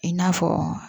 I n'a fɔ